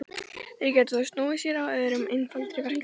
Þeir gætu þá snúið sér að öðrum og einfaldari verkefnum.